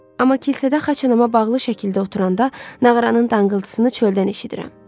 Amma kilsədə xaçanama bağlı şəkildə oturanda nağaranın danqıltısını çöldən eşidirəm.